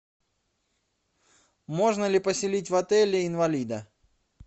можно ли поселить в отеле инвалида